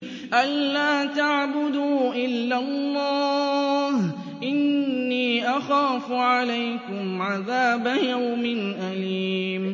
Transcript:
أَن لَّا تَعْبُدُوا إِلَّا اللَّهَ ۖ إِنِّي أَخَافُ عَلَيْكُمْ عَذَابَ يَوْمٍ أَلِيمٍ